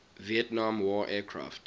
vietnam war aircraft